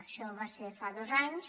això va ser fa dos anys